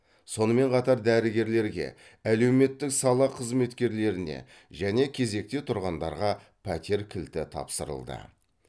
сонымен қатар дәрігерлерге әлеуметтік сала қызметкерлеріне және кезекте тұрғандарға пәтер кілті тапсырылды